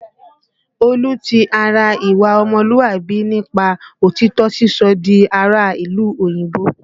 Olú ti ara ìwà ọmọlúàbí nípa òtítọ́ sísọ di ará ìlú òyìnbó